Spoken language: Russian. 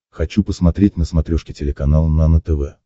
хочу посмотреть на смотрешке телеканал нано тв